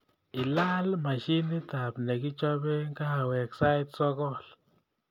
Ilaal mashinitab negochope kahawek sait sogol